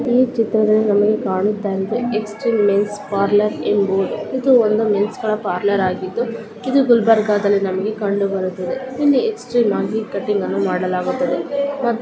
ಈ ಚಿತ್ರದಲ್ಲಿ ನಮಗೆ ಕಾಣುತಾ ಇದೆ ಎಕ್ಸ್ಟ್ರೀಮ್ ಮೆನ್ಸ್ ಪಾರ್ಲರ್ ಎಂಬುದು ಇದು ಒಂದು ಮೆನ್ಸ್ ಗಳ ಪಾರ್ಲರ್ ಆಗಿದು ಇದು ಗುಲ್ಬರ್ಗಾದಲ್ಲಿ ನಮಗೆ ಕಂಡು ಬರುತ್ತದೆ ಇಲ್ಲಿ ಎಕ್ಸ್ಟ್ರೀಮ್ ಆಗಿ ಕಟಿಂಗ್ ಅನ್ನು ಮಡಲಾಗುತ್ತದೆ .